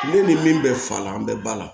Ne ni min bɛ fa la an bɛ ba la